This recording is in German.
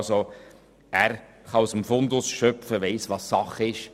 Er kann also aus dem Fundus schöpfen und weiss, was Sache ist.